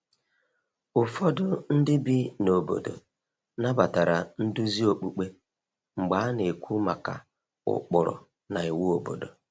Ụfọdụ ndị bi na obodo nabatara nduzi okpukpe mgbe a na-ekwu maka ụkpụrụ na iwu obodo.